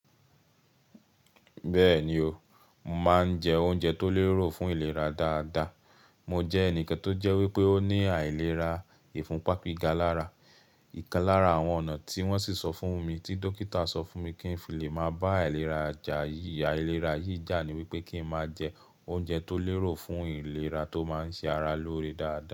Bẹ́ẹ̀ni o, màá ń jẹ oúnjẹ tó lérò fún ìlera dáadáa. Mo jẹ́ ẹnìkan tó jẹ́ wípé ó ní àìlera ìfúnpá gíga lára. Ìkan lára àwọn ọ̀nà tí wọ́n sì sọ fún mi tí dókítà sọ fún mi kí ń fi lè máa bá àìlera yìí jà ni wípé kí ń máa jẹ oúnjẹ tó lérò fún ìlera tó máa ń ṣe ara lóore dáadáa.